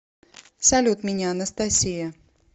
салют меня анастасия